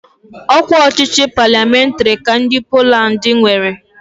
Ọ kwa ọchịchị palịamentarị ka ndị Poland nwere.